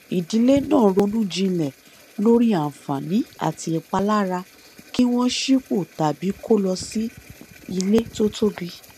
ìdílé náà ronú jinlẹ lórí àǹfààní àti ìpalára kí wọn sípò tàbí kó lọ sí ilé tó tóbi